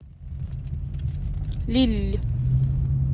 лилль